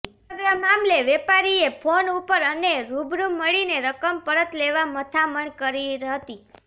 સમગ્ર મામલે વેપારીએ ફોન ઉપર અને રૂબરૂ મળીને રકમ પરત લેવા મથામણ કરી હતી